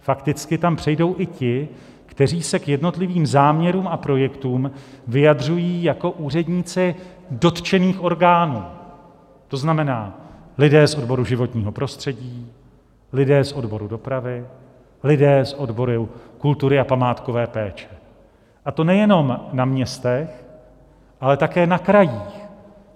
Fakticky tam přejdou i ti, kteří se k jednotlivým záměrům a projektům vyjadřují jako úředníci dotčených orgánů, to znamená lidé z odboru životního prostředí, lidé z odboru dopravy, lidé z odboru kultury a památkové péče, a to nejenom na městech, ale také na krajích.